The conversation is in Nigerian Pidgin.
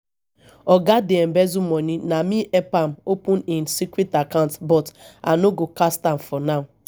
oga dey embezzle money na me help am open im secret account but i no go cast am for now